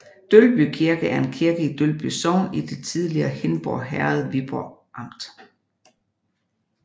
Dølby Kirke er en kirke i Dølby Sogn i det tidligere Hindborg Herred Viborg Amt